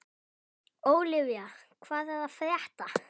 Ólivía, hvað er að frétta?